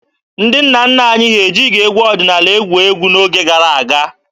Ndị nna nna anyị ha ejighị egwu ọdịnaala egwu egwu n'oge gara aga.